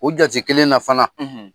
O jate kelen na fana;